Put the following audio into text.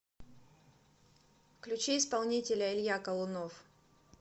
включи исполнителя илья колунов